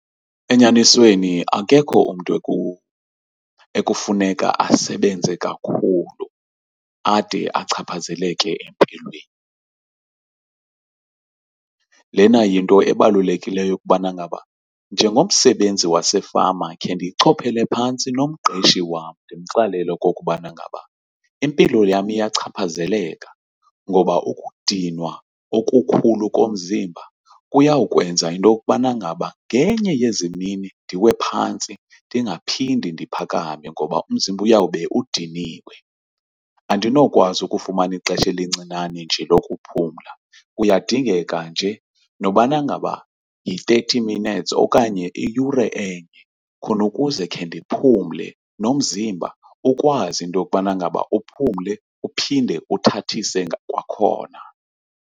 Enyanisweni akekho umntu ekufuneka asebenze kakhulu ade achaphazeleke empilweni. Lena yinto ebalulekileyo yokubana ngaba njengomsebenzi wasefama khe ndiyichophele phantsi nomqeshi wam, ndimxelele okokubana ngaba impilo yam iyachaphazeleka, ngoba ukudinwa okukhulu komzimba kuyawukwenza into yokubana ngaba ngenye yezimini ndiwe phantsi ndingaphinde ndiphakame ngoba umzimba uyawube udiniwe. Andinokwazi ukufumana ixesha elincinane nje lokuphumla kuyadingeka nje nokubana ngaba yi-thirty minutes okanye iyure and khonukuze khe ndiphumle nomzimba ukwazi into yokubana ngaba uphumle uphinde uthathise kwakhona.